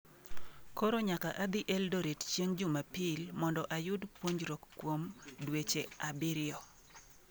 Koro nyaka adhi Eldoret chieng’ Jumapil mondo ayud puonjruok kuom dweche abiriyo.